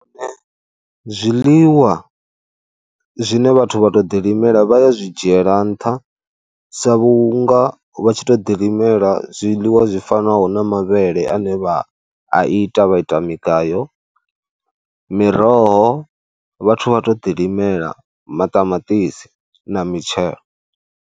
Zwiḽiwa zwine vhathu vha tou ḓilimela vha ya zwi dzhiela nṱha sa vhunga vha tshi tuo ḓilimela zwiḽiwa zwi fanaho na mavhele ane vha a ita, vha ita migayo miroho vhathu vha to ḓilimela maṱamaṱisi na mitshelo.